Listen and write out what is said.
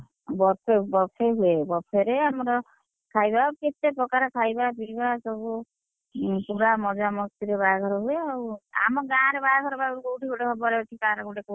Buffet buffet ହୁଏ buffet ରେ ଆମର ଖାଇବା କେତେ ପ୍ରକାର ଖାଇବା ପିଇବା ସବୁ, ପୁରା ମଜା ମସ୍ତିରେ ବାହାଘର ହୁଏ, ଆମ ଗାଁରେ ବାହାଘର ବା କୋଉଠି ଗୋଟେ ହବାର ଅଛି କାହାର ଗୋଟେ କହୁଥିଲୁ?